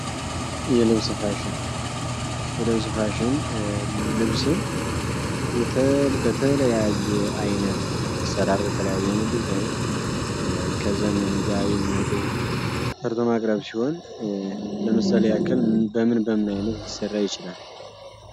የልብስ ፋሽን ፋሽን ልብስን በተለያየ አይነት መስተዳድር በተለያየ ዘመኑ ጋር የሚሄዱ ሲሆን ለምሳሌ ያክል በምን በምን አይነት ሊሰራ ይችላል